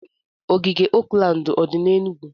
Ogige Oakland o dị n'Enugwu?